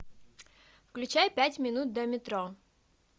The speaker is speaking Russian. включай пять минут до метро